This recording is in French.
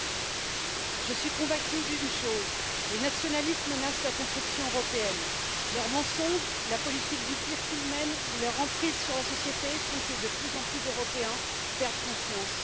Monsieur le Président, je suis convaincue d'une chose les nationalistes menacent la construction européenne. Leurs mensonges, la politique du pire qu'ils mènent, leur emprise sur la société, font que de plus en plus d'Européens perdent confiance.